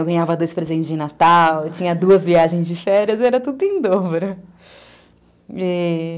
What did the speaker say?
Eu ganhava dois presentes de Natal, eu tinha duas viagens de férias, era tudo em dobro, e